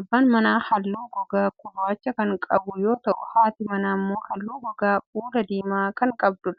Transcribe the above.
Abbaan manaa haalluu gogaa gurraacha kan qabu yoo ta'u, haatii manaa immoo haalluu gogaa fuulaa diimaa ta'e qabdi.